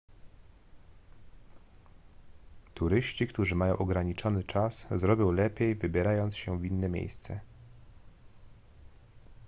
turyści którzy mają ograniczony czas zrobią lepiej wybierając się w inne miejsce